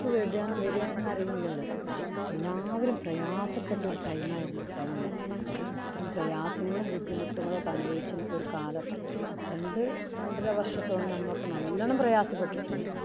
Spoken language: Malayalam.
~ക്ക് വരിക എന്നറിയില്ലല്ലോ. എല്ലാവരും പ്രയാസപ്പെട്ട ഒരു time ആരുന്നു ആ time പ്രയാസങ്ങളും, ബുദ്ധിമുട്ടുകളും അനുഭവിച്ച ഒരു കാലം. രണ്ടു രണ്ടര വര്‍ഷത്തോളം നമ്മളൊക്കെ നല്ലോണം പ്രയാസപ്പെട്ടിട്ടുണ്ട്.